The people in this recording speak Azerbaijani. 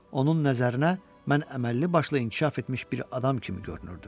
Onun nəzərinə mən əməlli başlı inkişaf etmiş bir adam kimi görünürdüm.